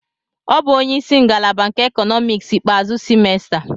O bụ onye isi ngalaba nke Economics ikpeazụ semester.